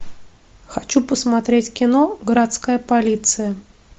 хочу посмотреть кино городская полиция